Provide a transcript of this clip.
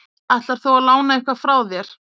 Ætlar þú að lána eitthvað frá þér?